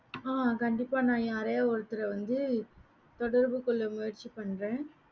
ஆஹ் கண்டிப்பா நான் யாரையா ஒருத்தர வந்து தொடர்பு கொள்ள முயற்சி பன்றேன்